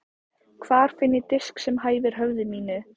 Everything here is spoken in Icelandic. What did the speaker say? Hvar finn ég disk sem hæfir höfði mínu?